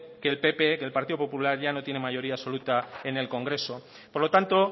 que el pp que el partido popular ya no tiene mayoría absoluta en el congreso por lo tanto